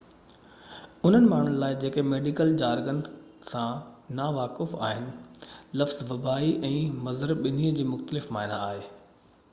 انهن ماڻهن لاءِ جيڪي ميڊيڪل جارگن سان نا واقف آهن لفظ وبائي ۽ مُضر ٻنهي جي مختلف معني آهي